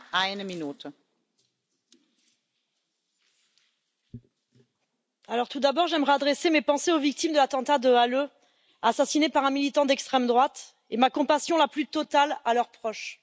Madame la Présidente, tout d'abord, j'aimerais adresser mes pensées aux victimes de l'attentat de Halle, assassinées par un militant d'extrême droite et ma compassion la plus totale à leurs proches.